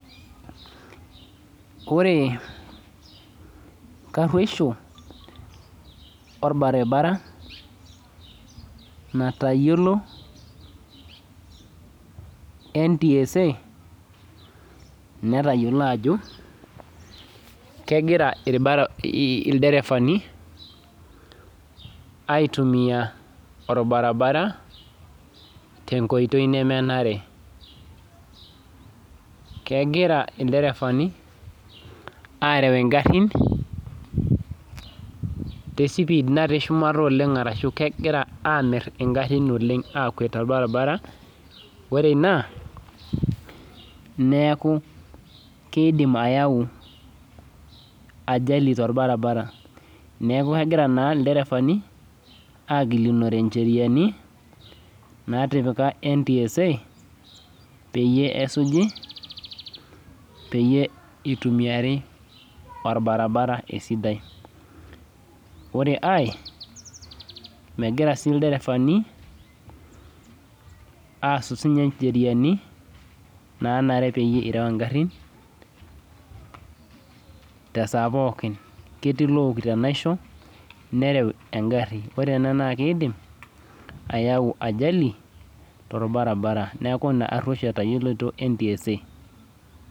Kore ntarueisho orbaribara natayiolo NTSA netayiolo ajo kegira irbari, ilderefanni aitumiya orbaribara te nkoitoi nemenare. Kegira ilderefani are ingarrin te sipiid natii shumata oleng arashu kegira aamirr ingarrin olen, aakwet te olbarbara, ore ina neaku keidim ayau ajali te orbaribara, neaku egira naa irbaribarani egelunore incheriani naatipika NTSA peyie esuji, peyie eitumiyiari orbaribara esidai. Ore aii megira sii ilderefani aass si ninye incheriani naanare peyie irau ingarrin te saa pookin. Ketii lookito enaisho, nerau engari, naa keidim ayau ajali to irbaribara, neaku ina inkareusho etayiolito NTSA.